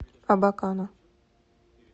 абакана